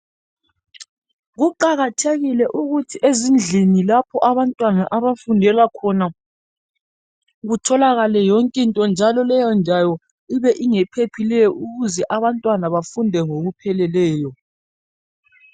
Kuqakathekile ukuthi ezindlini lapha abantwana abafundela khona kutholakale yonke into njalo leyo ndawo ibe ingephephileyo ukuze abantwana bafunde ngokuphephileyo.